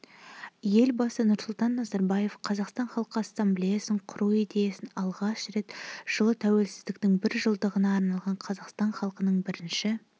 елбасы нұрсұлтан назарбаев қазақстан халқы ассамблеясын құру идеясын алғаш рет жылы тәуелсіздіктің бір жылдығына арналған қазақстан халқының бірінші